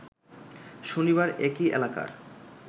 শনিবার একই এলাকার